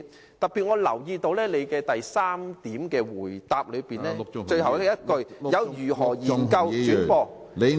我特別留意到，主體答覆第三部分的最後一句，如何研究轉播......